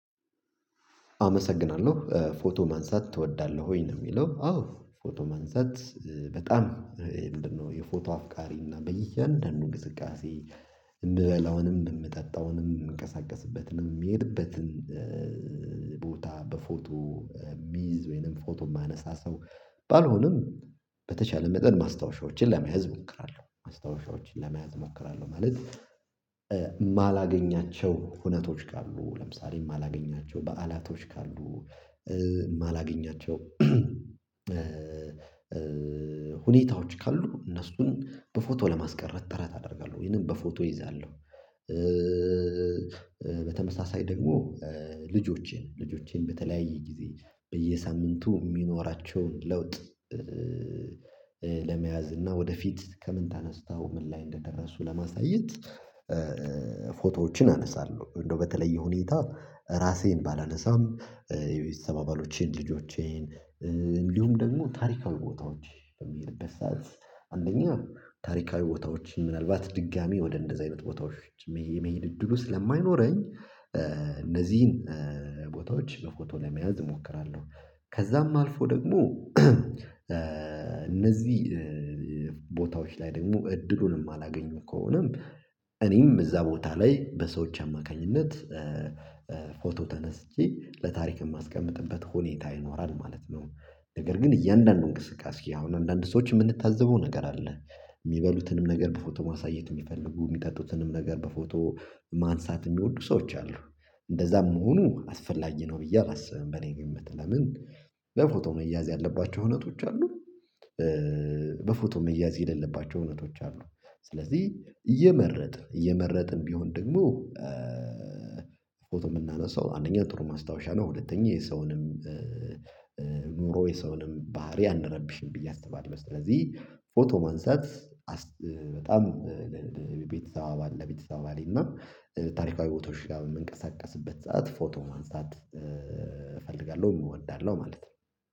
አመሰግናለሁ። ፎቶ ማንሳት ትወዳለህ ወይ ነው ለሚለው አዎ ፎቶ ማንሳት በጣም ምንድነው የፎቶ አፍቃሪና በየአንዳንዱ እንቅስቃሴ የምበላውንም የምጠጣውንም የምንቀሳቀስበትንም የምሄድበትን ቦታ በፎቶ የምይዝ ወይንም ፎቶ የማነሳ ሰው ባልሆንም በተቻለ መጠን ማስታወሻዎችን ለመያዝ እሞክራለሁ ማስታወሻዎችን ለመያዝ እሞክራለሁ ማለት የማላገኛቸው ሁነቶች ካሉ ለምሳሌ የማላገኛቸው በዓላቶች ካሉ የማላገኛቸው ሁኔታዎች ካሉ እነሱን በፎቶ ለማስቀረት ጥረት አደርጋለሁ ይሄንን በፎቶ ይዛለሁ በተመሳሳይ ደግሞ ልጆቼን ልጆቼን በተለያየ ጊዜ በየሳምንቱ የሚኖራቸውን ለውጥ ለመያዝ እና ወደፊት ከምን ተነስታው ምን ላይ እንደደረሱ ለማሳየት ፎቶዎችን አነሳለሁ እንደው በተለየ ሁኔታ ራሴን ባላነሳም የቤተሰብ አባሎቼን ልጆቼን እንዲሁም ደግሞ ታሪካዊ ቦታዎች በምሄድበት ሰዓት አንደኛ ታሪካዊ ቦታዎች ምናልባት ድጋሚ ወደ እንደዚህ አይነት ቦታዎች የመሄድ እድል ውስጥ ስለማይኖረኝ እነዚህን ቦታዎች በፎቶ ለመያዝ እሞክራለሁ ከዛም አልፎ ደግሞ እነዚህ ቦታዎች ላይ ደግሞ እድሉንም የማላገኘው ከሆነም እኔም እዛ ቦታ ላይ በሰዎች አማካኝነት ፎቶ ተነስቼ ለታሪክ የማስቀምጥበት ሁኔታ ይኖራል ማለት ነው ነገር ግን እያንዳንዱን እንቅስቃሴ አሁን አንዳንድ ሰዎች የምንታዘበው ነገር አለ የሚበሉትንም ነገር በፎቶ ማሳየት የሚፈልጉ የሚጠጡትንም ነገር በፎቶ ማንሳት የሚወዱ ሰዎች አሉ እንደዛም መሆኑ አስፈላጊ ነው ብዬ አላስብም በኔ ግምት ለምን በፎቶ መያዝ ያለባቸው እውነቶች አሉ በፎቶ መያዝ የሌለባቸው እውነቶች አሉ ስለዚህ እየመረጥን እየመረጥን ቢሆን ደግሞ ፎቶ የምናነሳው አንደኛ ጥሩ ማስታወሻ ነው ሁለተኛ የሰውንም ኑሮ የሰውንም ባህሪ አንረብሽም ብዬ አስባለሁ ስለዚህ ፎቶ ማንሳት በጣም ቤተሰብ አባል ለቤተሰብ አባሌ እና ታሪካዊ ቦታዎች ጋር በምንቀሳቀስበት ሰዓት ፎቶ ማንሳት እፈልጋለሁ እወዳለሁ ማለት ነው